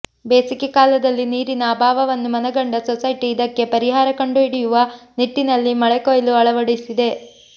ಬೇಸಗೆ ಕಾಲದಲ್ಲಿ ನೀರಿನ ಅಭಾವವನ್ನು ಮನಗಂಡ ಸೊಸೈಟಿ ಇದಕ್ಕೆ ಪರಿಹಾರ ಕಂಡುಹಿಡಿಯುವ ನಿಟ್ಟಿನಲ್ಲಿ ಮಳೆಕೊಯ್ಲು ಅಳವಡಿಸಿದೆ